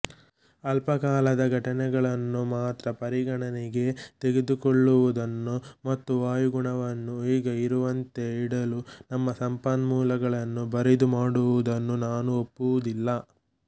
ಅಲ್ಪಕಾಲದ ಘಟನೆಗಳನ್ನು ಮಾತ್ರ ಪರಿಗಣನೆಗೆ ತೆಗೆದುಕೊಳ್ಳುವುದನ್ನು ಮತ್ತು ವಾಯುಗುಣವನ್ನು ಈಗ ಇರುವಂತೆ ಇಡಲು ನಮ್ಮ ಸಂಪನ್ಮೂಲಗಳನ್ನು ಬರಿದುಮಾಡುವುದನ್ನು ನಾನು ಒಪ್ಪುವುದಿಲ್ಲ